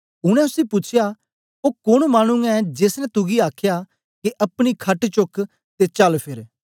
उनै उसी पूछया ओ कोन मानु ऐ जेस ने तुगी आखया के अपनी खट चुक्क ते चल फेर